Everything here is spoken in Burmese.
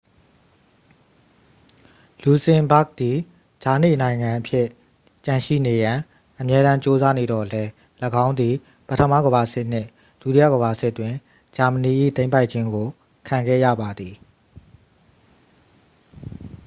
လူဇင်ဘာ့ဂ်သည် ကြားနေနိုင်ငံအဖြစ်ကျန်ရှိနေရန် အမြဲတမ်းကြိုးစားနေသော်လည်း ၎င်းသည် ပထမကမ္ဘာစစ်နှင့် ဒုတိယကမ္ဘာစစ်တွင် ဂျာမနီ၏သိမ်းပိုက်ခြင်းကို ခံခဲ့ရပါသည်